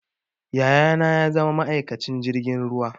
Yaya na ya zama ma'aikacin jirgin ruwa